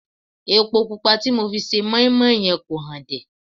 Epo pupa tí mo fi se mọ́ín-mọ́ín yẹn kò hànde